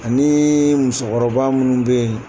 Ani musokɔrɔba munnu bɛ ye.